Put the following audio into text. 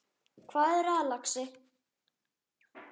Hvað er það, lagsi?